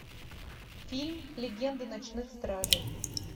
фильм легенда ночных стражей